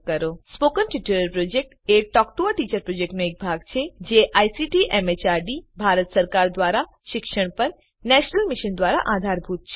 spoken tutorial project એ talk to a teacher પ્રોજેક્ટનો એક ભાગ છે જે આઇસીટી એમએચઆરડી ભારત સરકાર દ્વારા શિક્ષણ પર નેશનલ મિશન દ્વારા આધારભૂત છે